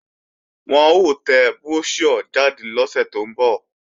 Wọn ó tẹ bróṣíọ̀ jáde lọ́sẹ̀ tó ń bọ̀